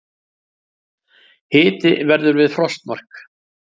Hiti verður við frostmark